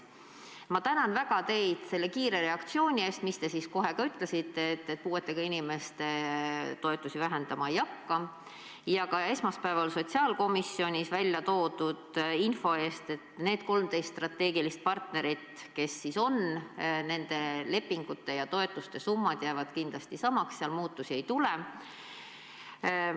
Ma tänan väga teid kiire reaktsiooni eest, te kohe ütlesite, et puuetega inimeste toetusi vähendama ei hakka, ja ka esmaspäeval sotsiaalkomisjonis väljatoodud info eest, et nende 13 strateegilise partneri lepingute ja toetuste summad jäävad kindlasti samaks, seal muutusi ei tule.